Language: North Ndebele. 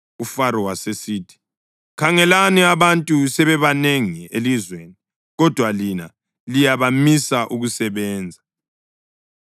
UFaro wasesithi, “Khangelani abantu sebebanengi elizweni, kodwa lina liyabamisa ukusebenza.”